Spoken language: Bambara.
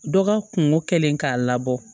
Dɔ ka kungo kɛlen k'a labɔ